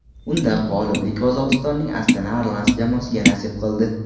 Unda g‘oliblik Qozog‘istonning Astana Arlans jamoasiga nasib qildi.